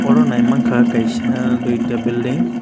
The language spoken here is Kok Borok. oro naimangkha kaisa duita belding.